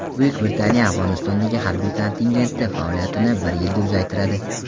Buyuk Britaniya Afg‘onistondagi harbiy kontingenti faoliyatini bir yilga uzaytiradi.